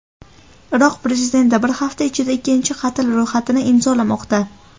Iroq prezidenti bir hafta ichida ikkinchi qatl ro‘yxatini imzolamoqda .